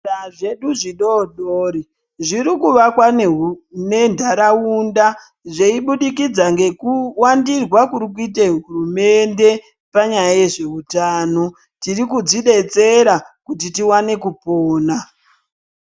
Zvipatara zedu zvidoodori zvirir kuvakwa nentaraunda zveibudikidza ngekuwandirwa kurikuite hurumende panyaya yezveutano. Tiri kudzidetsera kuti tiwane kupona.